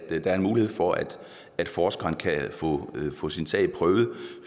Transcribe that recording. er en mulighed for at forskeren kan få sin sag prøvet